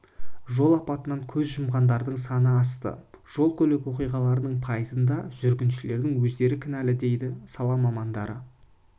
жол апатынан көз жұмғандардың саны асты жол-көлік оқиғаларының пайызында жүргіншілердің өздері кәнілі дейді сала мамандары